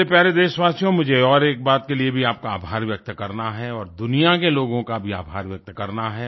मेरे प्यारे देशवासियो मुझे और एक बात के लिए भी आपका आभार व्यक्त करना है और दुनिया के लोगों का भी आभार व्यक्त करना है